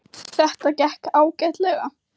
Þetta gekk ágætlega